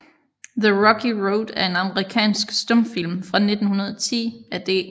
The Rocky Road er en amerikansk stumfilm fra 1910 af D